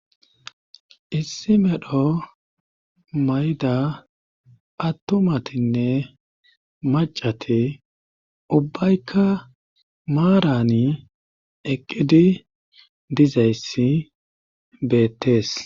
Issi medho mayda attomatinne macati ubbaykka maarani eqqidi dizayssi beettees.